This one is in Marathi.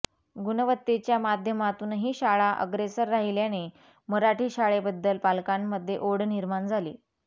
गुणवत्तेच्या माध्यमातूनही शाळा अग्रेसर राहिल्याने मराठी शाळेबद्दल पालकांमध्ये ओढ निर्माण झाली